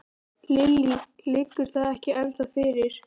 Lillý: Liggur það ekki ennþá fyrir?